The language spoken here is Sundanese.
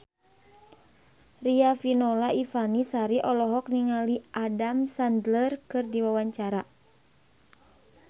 Riafinola Ifani Sari olohok ningali Adam Sandler keur diwawancara